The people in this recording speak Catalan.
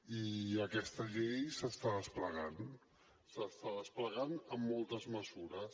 i aquesta llei s’està desplegant s’està desplegant amb moltes mesures